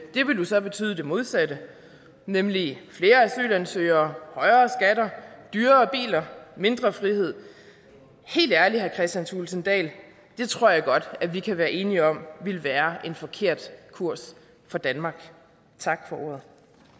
det ville jo så betyde det modsatte nemlig flere asylansøgere højere skatter dyrere biler mindre frihed helt ærligt herre kristian thulesen dahl det tror jeg godt vi kan være enige om ville være en forkert kurs for danmark tak for ordet